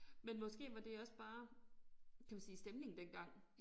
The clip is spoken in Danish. Men måske var det også bare kan vi sige stemningen dengang